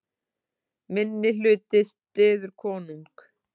Minnihluti styður konung